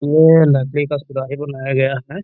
ये नदी का सुराही बनाया गया है।